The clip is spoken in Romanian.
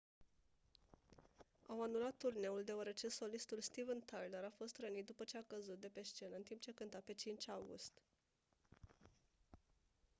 au anulat turneul deoarece solistul steven tyler a fost rănit după ce a căzut de pe scenă în timp ce cânta pe 5 august